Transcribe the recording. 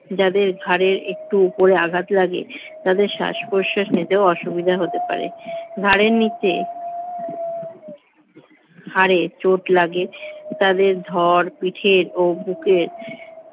যাদের ঘাড়ের একটু উপরে আঘাত লাগে তাদের শ্বাস-প্রশ্বাস নিতে অসুবিধা হতে পারে ঘাড়ের নিচে হাড়ে চোট লাগে তাদের ধর পিঠে ও বুকের